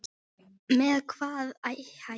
Með hvaða hætti?